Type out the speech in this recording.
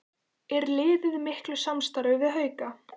Er liðið í miklu samstarfi við Hauka?